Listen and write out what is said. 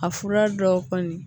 A fura dɔw kɔni